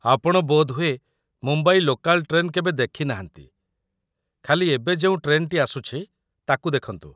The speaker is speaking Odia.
ଆପଣ ବୋଧହୁଏ ମୁମ୍ବାଇ ଲୋକାଲ୍ ଟ୍ରେନ୍ କେବେ ଦେଖିନାହାନ୍ତି, ଖାଲି ଏବେ ଯେଉଁ ଟ୍ରେନ୍‌ଟି ଆସୁଛି ତାକୁ ଦେଖନ୍ତୁ ।